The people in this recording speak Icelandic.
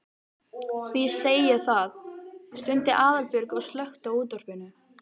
Því segi ég það. stundi Aðalbjörg og slökkti á útvarpinu.